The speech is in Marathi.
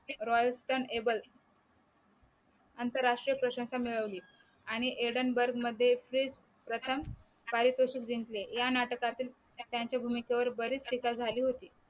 royal scan able आंतरराष्ट्रीय प्रशंसा मिळवली आणि aran bag मध्ये प्रथम पारितोषिक जिंकले या नाटकातील त्यांच्या भूमिकेवर बरीच टीका झाली होती.